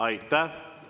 Aitäh!